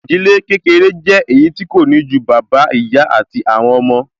Ìdílé kékeré jẹ́ èyí tí kò ní ju bàbá, ìyá àti àwọn ọmọ